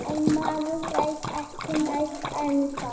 En maður veit ekki neitt ennþá